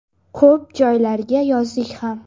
Ko‘p joylarga yozdik ham.